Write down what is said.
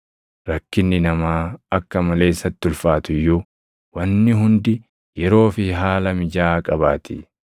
Rakkinni namaa akka malee isatti ulfaatu iyyuu wanni hundi yeroo fi haala mijaaʼaa qabaatii.